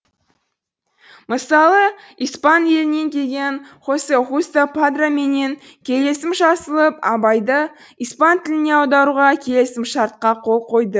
мысалы испан елінен келген хосе хусто падро менен келісім жасалып абайды испан тіліне аударуға келісімшартқа қол койды